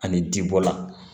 Ani jibɔla